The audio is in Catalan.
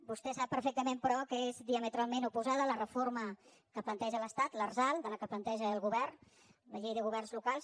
vostè sap perfectament però que és diametralment oposada la reforma que planteja l’estat l’arsal de la que planteja el govern la llei de governs locals